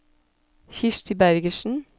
Kirsti Bergersen